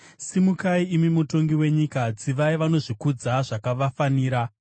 Simukai, imi Mutongi wenyika; tsivai vanozvikudza zvakavafanira.